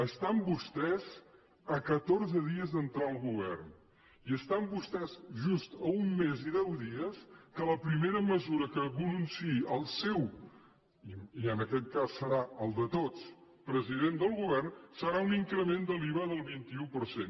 estan vostès a catorze dies d’entrar al govern i estan vostès just a un mes i deu dies que la primera mesura que algú anunciï el seu i en aquest cas serà el de tots president del govern serà un increment de l’iva del vint un per cent